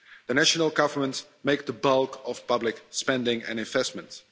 The national governments make the bulk of public spending and investments.